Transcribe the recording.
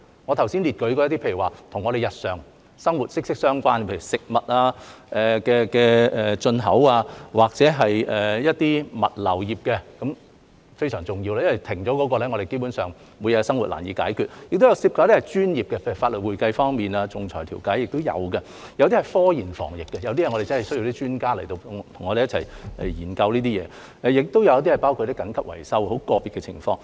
我剛才列舉的，有與我們日常生活息息相關的，例如食物進口或物流業，皆非常重要，因為一旦停頓，我們基本上每日的生活便難以解決；此外也有涉及一些專業的，例如法律、會計、仲裁調解；有些是涉及科研防疫的，我們真的需要專家與我們一同研究這些事情；亦有一些是包括緊急維修等很個別的情況。